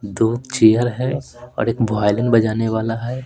दो चेयर हैऔर एक वायलन बजाने वाला है।